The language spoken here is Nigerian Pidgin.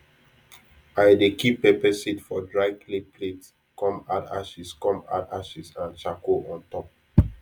i dey keep pepper seed for dry clay plate come add ashes come add ashes and charcoal on top